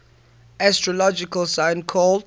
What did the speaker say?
astrological sign called